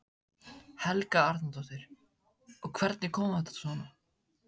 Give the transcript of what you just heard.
Helga Arnardóttir: Og hvernig kom þetta svona?